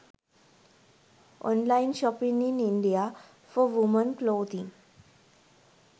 online shopping in india for women clothing